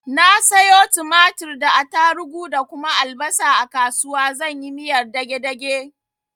Na sayo tumatir da attarugu da kuma albasa a kasuwa zan yi miyar dage dage.